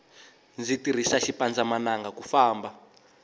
ndzi tirisa xipandza mananga ku famba